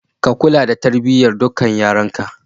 Ka kula da tarbiyyar dukkan yaranka.